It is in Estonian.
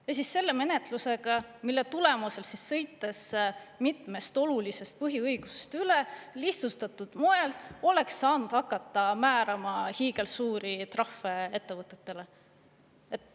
Ja siis selle menetlusega, mille tulemusel, sõites mitmest olulisest põhiõigust üle, lihtsustatud moel oleks saanud hakata määrama hiigelsuuri trahve ettevõtetele.